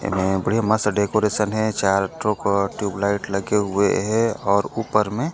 एमे बढ़िया मस्त से डेकोरेशन हे चार ठोक ट्यूब लाइट लगे हुए हे और ऊपर मे--